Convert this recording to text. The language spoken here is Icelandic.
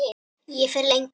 Ég fer lengra.